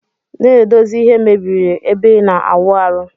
Na edozi ihe mebiri ebe ina awụ arụ.